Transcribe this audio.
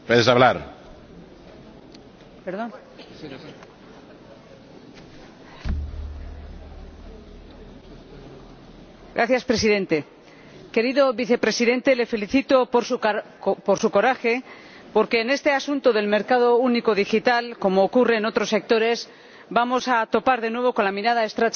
Señor Presidente, querido Vicepresidente, le felicito por su coraje, porque en este asunto del mercado único digital —como ocurre en otros sectores— vamos a topar, de nuevo, con la mirada estrecha del Consejo y su obsesión por las fronteras.